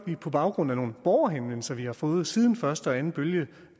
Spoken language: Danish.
vi på baggrund af nogle borgerhenvendelser vi har fået siden første og anden bølge